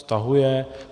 Stahuje.